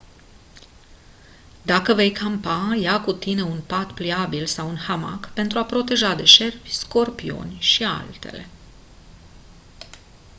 dacă vei campa ia cu tine un pat pliabil sau un hamac pentru a te proteja de șerpi scorpioni și altele